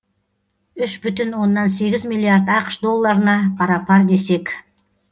үш бүтін оннан сегіз миллиард ақш долларына пара пар десек